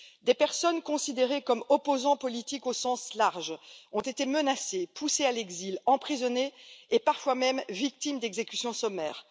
Des personnes considérées comme opposants politiques au sens large ont été menacées, poussées à l'exil, emprisonnées et parfois même victimes d'exécutions sommaires.